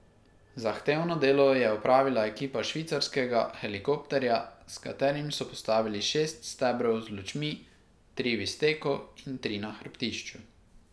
Zahtevno delo je opravila ekipa švicarskega helikopterja, s katerim so postavili šest stebrov z lučmi, tri v izteku in tri na hrbtišču.